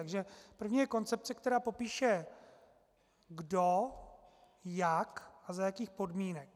Takže první je koncepce, která popíše kdo, jak a za jakých podmínek.